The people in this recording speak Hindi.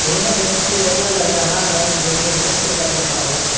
यह व्यक्ति ऐसा लग रहा है जैसे नृत्य कर रहा हो।